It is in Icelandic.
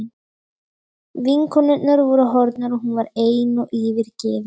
Vinkonurnar voru horfnar og hún var ein og yfirgefin.